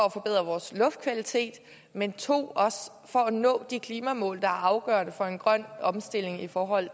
at forbedre vores luftkvalitet men 2 også for at nå de klimamål der er afgørende for en grøn omstilling i forhold